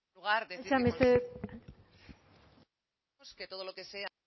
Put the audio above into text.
mesedez sí es que todo lo que sea